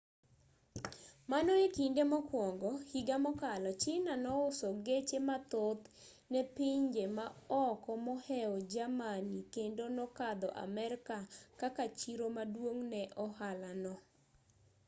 mano e kinde mokwongo higa mokalo china nouso geche mathoth ne pinje maoko moheo germany kendo nokadho amerka kaka chiro maduong' ne ohala no